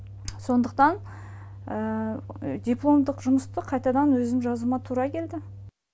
сондықтан дипломдық жұмысты қайтадан өзім жазуыма тура келді